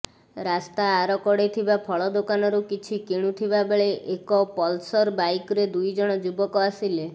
ରାସ୍ତା ଆରକଡ଼େ ଥିବା ଫଳ ଦୋକାନରୁ କିଛି କିଣୁଥିବା ବେଳେ ଏକ ପଲ୍ସର ବାଇକରେ ଦୁଇଜଣ ଯୁବକ ଆସିଲେ